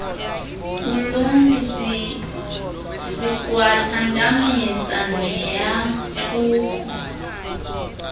koluntu sikwathantamisa neyantluko